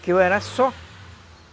Que eu era só.